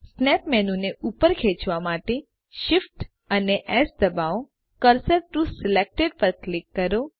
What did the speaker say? snap menu ને ઉપર ખેચવા માટે Shift અને એસ દબાવોCursor ટીઓ સિલેક્ટેડ પર ક્લિક કરો